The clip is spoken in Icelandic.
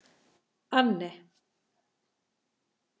Anne